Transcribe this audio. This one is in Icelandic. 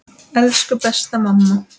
Elsku besta mamma.